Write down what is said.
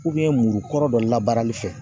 muru kɔrɔ dɔ labarali fɛ